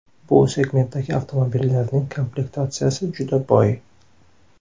Bu segmentdagi avtomobillarning komplektatsiyasi juda boy.